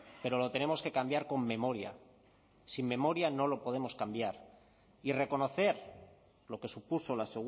pero lo tenemos que cambiar con memoria sin memoria no lo podemos cambiar y reconocer lo que supuso la